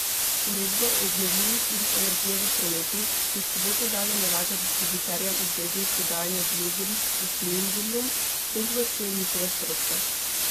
Uredba o obnovljivih virih energije v prometu, ki od sobote dalje nalaga distributerjem obveznost dodajanja biogoriv k fosilnim gorivom, s tem povečuje njihove stroške.